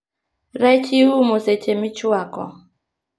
Rech iumo seche michwako